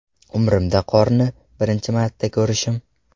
Umrimda qorni birinchi marta ko‘rishim”.